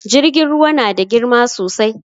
Jirgin ruwa na da girma sosai